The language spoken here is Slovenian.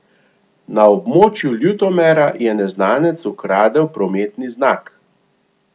Na območju Ljutomera je neznanec ukradel prometni znak.